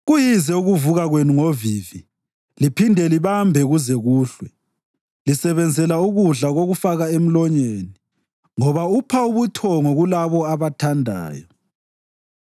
Kuyize ukuvuka kwenu ngovivi liphinde libambe kuze kuhlwe, lisebenzela ukudla kokufaka emlonyeni ngoba upha ubuthongo kulabo abathandayo.